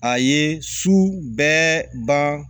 A ye su bɛɛ ban